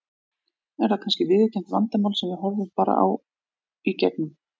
Er það kannski viðurkennt vandamál sem við horfum bara í gegnum?